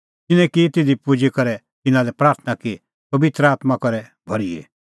तिन्नैं की तिधी पुजी करै तिन्नां लै प्राथणां कि पबित्र आत्मां करे भर्हिए